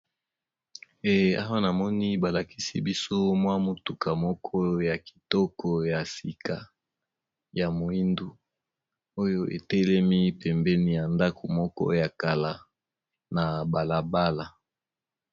Ee awa namoni ba lakisi biso mwa motuka moko ya kitoko ya sika ya moindu oyo etelemi pembeni ya ndako moko ya kala na bala bala.